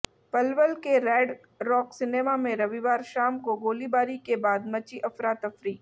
पलवल के Red Rock Cinema में रविवार शाम को गोलीबारी के बाद मची अफरातफरी